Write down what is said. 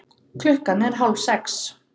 Klukkan er hálfsex.